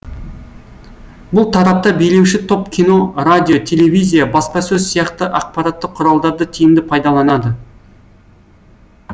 бұл тарапта билеуші топ кино радио телевизия баспасөз сияқты ақпараттық құралдарды тиімді пайдаланады